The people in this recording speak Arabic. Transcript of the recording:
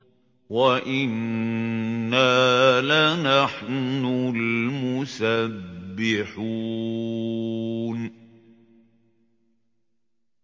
وَإِنَّا لَنَحْنُ الْمُسَبِّحُونَ